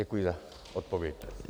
Děkuji za odpověď.